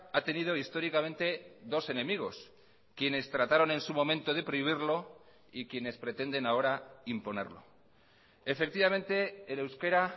ha tenido históricamente dos enemigos quienes trataron en su momento de prohibirlo y quienes pretenden ahora imponerlo efectivamente el euskera